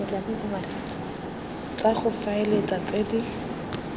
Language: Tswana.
tsa go faela tse di